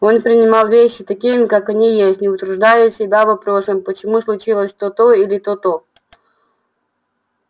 он принимал вещи такими как они есть не утруждая себя вопросом почему случилось то-то или то-то